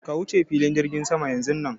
Ka wuce filin jirgin sama yanzun nan!